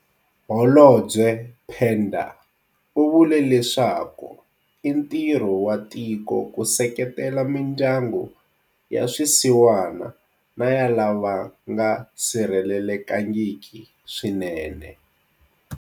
Holobye Pandor u vule leswaku i ntirho wa tiko ku seketela mindyangu ya swisiwana na ya lava nga sirhelekangiki swinene.